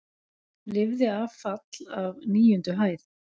Lifði af fall af níundu hæð